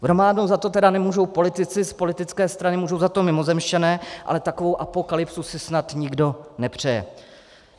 V románu za to tedy nemůžou politici z politické strany, můžou za to mimozemšťané, ale takovou apokalypsu si snad nikdo nepřeje.